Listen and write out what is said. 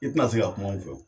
I tɛna se ka kuma anw fɛ wo.